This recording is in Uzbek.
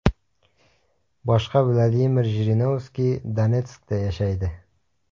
Boshqa Vladimir Jirinovskiy Donetskda yashaydi.